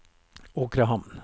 Åkrehamn